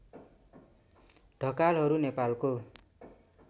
ढकालहरू नेपालको